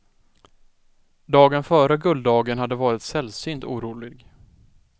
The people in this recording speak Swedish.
Dagen före gulddagen hade varit sällsynt orolig.